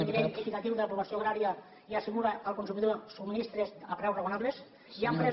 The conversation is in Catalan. el nivell equitatiu de la població agrària i assegura al consumidor subministraments a preus raonables i altres mesures